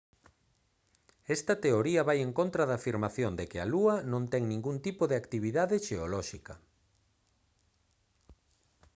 esta teoría vai en contra da afirmación de que a lúa non ten ningún tipo de actividade xeolóxica